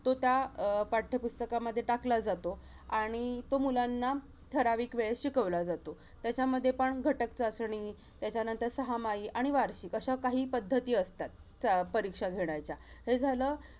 तो त्या अं पाठ्यपुस्तकामध्ये टाकला जातो आणि तो मुलांना ठराविक वेळेस शिकवला जातो. त्याच्यामध्ये पण घटक चाचणी, त्याच्यानंतर सहामाही आणि वार्षिक अशा काही पद्धती असतात, चा~ परीक्षा घेण्याच्या. हे झालं.